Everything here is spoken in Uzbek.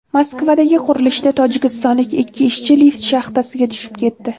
Moskvadagi qurilishda tojikistonlik ikki ishchi lift shaxtasiga tushib ketdi.